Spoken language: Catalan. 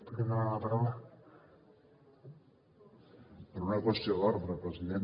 per una qüestió d’ordre president